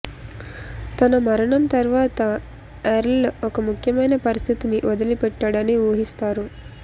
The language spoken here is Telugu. తన మరణం తర్వాత ఎర్ల్ ఒక ముఖ్యమైన పరిస్థితిని వదిలిపెట్టాడని ఊహిస్తారు